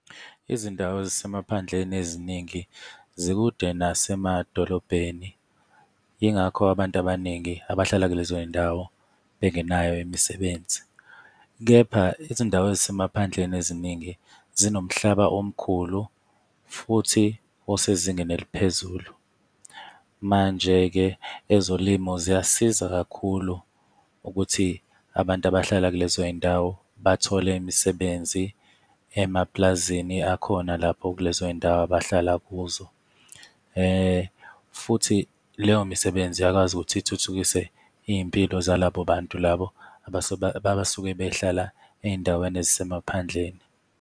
Izindawo ezisemaphandleni eziningi zikude nasemadolobheni, yingakho abantu abaningi abahlala kulezo y'ndawo bengenayo imisebenzi. Kepha izindawo ezisemaphandleni eziningi zinomhlaba omkhulu futhi osezingeni eliphezulu. Manje-ke ezolimo ziyasiza kakhulu ukuthi abantu abahlala kulezo y'ndawo bathole imisebenzi emapulazini akhona lapho kulezo y'ndawo abahlala kuzo. Futhi leyo misebenzi iyakwazi ukuthi ithuthukise iy'mpilo zalabo bantu labo abasuke behlala ezindaweni ezisemaphandleni.